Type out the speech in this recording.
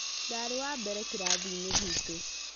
Ndarĩ wa mbere kĩrathiinĩ gitũ